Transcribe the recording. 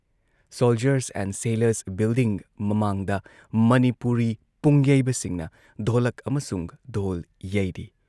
Soldiers and sailors building ꯃꯃꯥꯡꯗ ꯃꯅꯤꯄꯨꯔꯤ ꯄꯨꯡꯌꯩꯕꯁꯤꯡꯅ ꯙꯣꯂꯛ ꯑꯃꯁꯨꯡ ꯙꯣꯜ ꯌꯩꯔꯤ ꯫